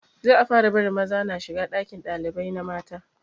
Za a fara barin maza na shiga ɗakin ɗalibai na mata